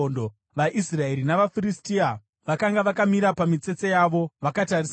VaIsraeri navaFiristia vakanga vakamira pamitsetse yavo vakatarisana.